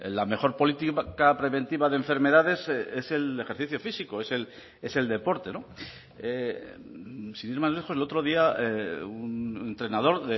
la mejor política preventiva de enfermedades es el ejercicio físico es el deporte sin ir más lejos el otro día un entrenador